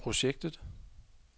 projektet